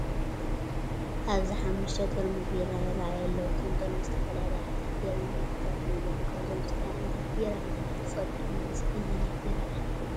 ኣብዚ ሓሙሽተ ጥርሙዝ ቢራ ይራኣዩ ኣለዉ። እቶም ጥርሙዝ ዝተፈላለዩ ዓይነታት ቢራን ምልክታትን እዮም። ካብዞም ዝተፈላለዩ ዓይነታት ቢራ ኣየናይ ትፈልጡ? ወይስ ኣየናይ ቢራ ኢኻ ትመርጽ?